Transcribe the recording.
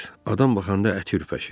Adam baxanda əti ürpəşir.